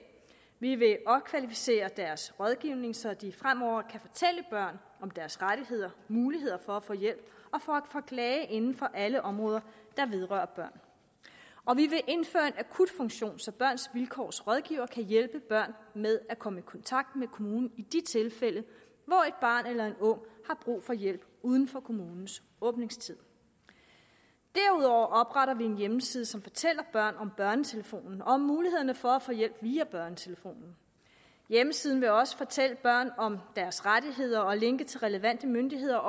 vi vil opkvalificere deres rådgivning så de fremover kan fortælle børn om deres rettigheder muligheder for at få hjælp og for at klage inden for alle områder der vedrører børn og vi vil indføre en akutfunktion så børns vilkårs rådgivere kan hjælpe børn med at komme i kontakt med kommunen i de tilfælde hvor et barn eller en ung har brug for hjælp uden for kommunens åbningstid derudover opretter vi en hjemmeside som fortæller børn om børnetelefonen og om mulighederne for at få hjælp via børnetelefonen hjemmesiden vil også fortælle børn om deres rettigheder og linke til relevante myndigheder